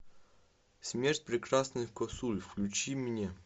смерть прекрасных косуль включи мне